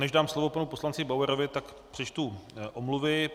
Než dám slovo panu poslanci Bauerovi, tak přečtu omluvy.